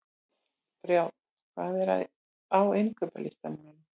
Brjánn, hvað er á innkaupalistanum mínum?